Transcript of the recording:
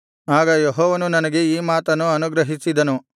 ಆಗ ಯೆಹೋವನು ನನಗೆ ಈ ಮಾತನ್ನು ಅನುಗ್ರಹಿಸಿದನು